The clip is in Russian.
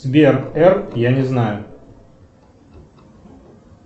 сбер р я не знаю